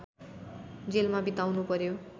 जेलमा बिताउनुपर्‍यो